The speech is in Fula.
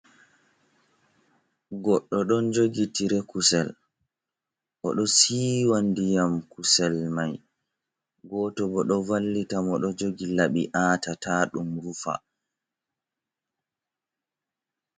Goɗɗo ɗon jogi tire kusel. Oɗo siwa diyam kusel mai. goto bo ɗo vallita mo ɗo jogi labi aata ta ɗum rufa.